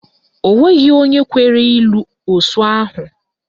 Onweghi onwe kwere ịlụ osu ahụ